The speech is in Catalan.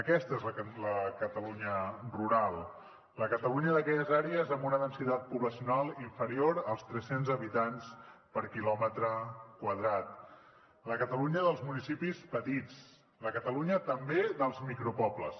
aquesta és la catalunya rural la catalunya d’aquelles àrees amb una densitat poblacional inferior als tres cents habitants per quilòmetre quadrat la catalunya dels municipis petits la catalunya també dels micropobles